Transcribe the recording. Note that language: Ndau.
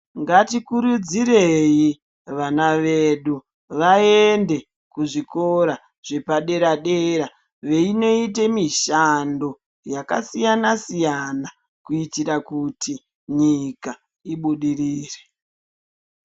Ngatikurudzirei vana vedu vaende kuzvikora zvepadera dera veinoita mishando yakasiyana siyana kuitira kuti nyika ibudirire.